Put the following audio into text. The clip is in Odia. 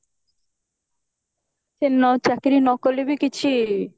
ସେ ନ ଚାକିରି ନ କାଲେ ବି କିଛି